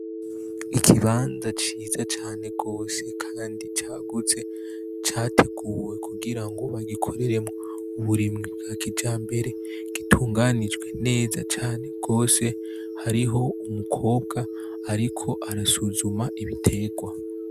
Ikibanza ciza cane gose kandi cagutse categuwe kugira ngo bagikoreremwo uburimyi bwa kijambere gitunganijwe neza cane gose hariho umukobwa ariko arasuzuma ibiterwa.